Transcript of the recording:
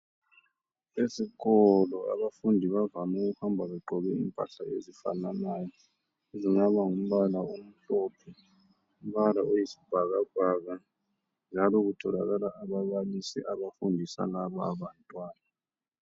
Esikolo abafundi bavam' ukuhamba begqoke impahla ezifananayo, ezingaba ngumbala omhlophe, umbala oyisibhakabhaka njalo kutholakala ababalisi abafundisa laba bantwana.